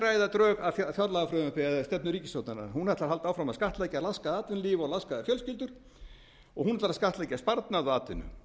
ræða drög að fjárlagafrumvarpi eða stefnu ríkisstjórnarinnar hún ætlar að halda áfram að skattleggja laskað atvinnulíf og laskaðar fjölskyldur og hún ætlar að skattleggja sparnað og atvinnu